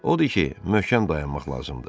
Odur ki, möhkəm dayanmaq lazımdır.